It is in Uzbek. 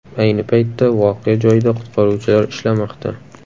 Ayni paytda voqea joyida qutqaruvchilar ishlamoqda.